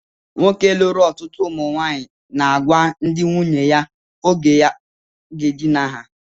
Nwoke lụrụ ọtụtụ ụmụnwaanyị na-agwa ndị nwunye ya oge ha ga-edina ya